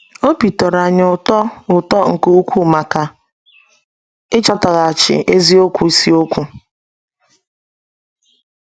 Obi tọrọ anyị ụtọ ụtọ nke ukwuu maka ịchọtaghachi eziokwu isiokwu!